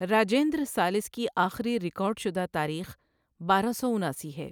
راجندر ثالث کی آخری ریکارڈ شدہ تاریخ بارہ سو اناسی ہے۔